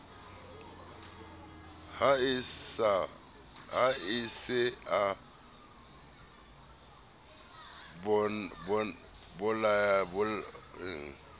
ha a se a bolaile